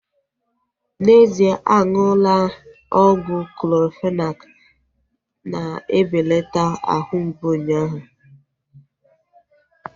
N'ezie aṅụla ọgwụ Clorofenak na-ebelata ahụ mgbụ unyaahu